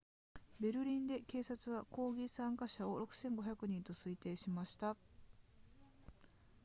ベルリンで警察は抗議参加者を 6,500 人と推定しました